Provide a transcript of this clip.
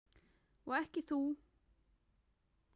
Og þú ekki heldur.